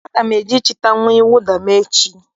Aga m eje chịta uwe mwụda m echi.